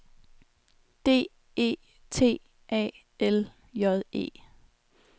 D E T A L J E